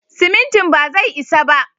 Simintin bazai isa ba.